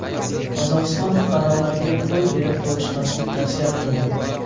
Qozog‘iston fuqarolariga qo‘l berib ko‘rishmaslik tavsiya qilindi.